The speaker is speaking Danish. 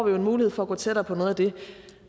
jo en mulighed for at gå tættere på noget af det